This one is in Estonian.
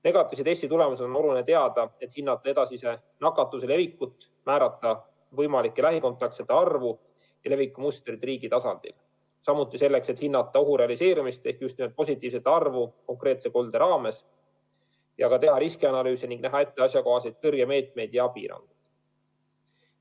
Negatiivse testi tulemusi on oluline teada, et hinnata edasise nakatumise levikut, määrata võimalike lähikontaktsete arvu ja leviku mustreid riigi tasandil, samuti selleks, et hinnata ohu realiseerumist ehk haigestumist konkreetses koldes, ühesõnaga, teha riskianalüüse ning näha ette asjakohaseid tõrjemeetmeid ja abiraha.